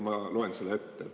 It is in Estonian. Ma loen selle ette.